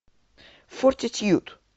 фортитьюд